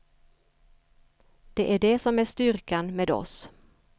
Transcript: Det är det som är styrkan med oss.